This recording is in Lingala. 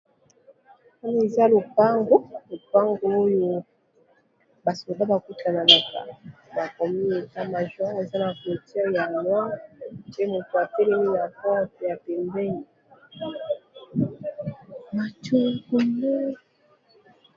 Oyo eza lopango lopango Oyo ba soda bakutanaka bakomi état major eza n'a clôture ya noir pe moto atelemi n'a pembeni